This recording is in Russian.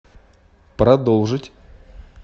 продолжить